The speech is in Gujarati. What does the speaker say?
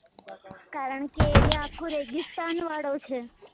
કારણ કે area આખો રેગીસ્તાન વાળો છે